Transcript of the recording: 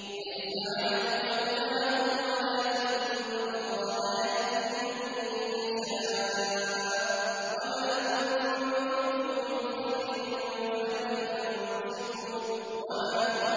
۞ لَّيْسَ عَلَيْكَ هُدَاهُمْ وَلَٰكِنَّ اللَّهَ يَهْدِي مَن يَشَاءُ ۗ وَمَا تُنفِقُوا مِنْ خَيْرٍ فَلِأَنفُسِكُمْ ۚ وَمَا